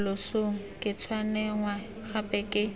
losong ke tshwenngwa gape ke